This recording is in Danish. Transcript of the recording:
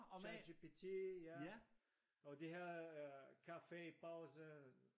ChatGPT ja og de har øh kaffe i pausen